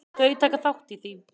Þau taka þátt í því.